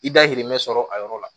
I dayirimɛ sɔrɔ a yɔrɔ la